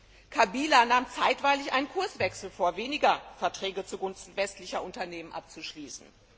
Präsident Kabila nahm zeitweilig einen Kurswechsel vor, weniger Verträge zugunsten westlicher Unternehmen abzuschließen.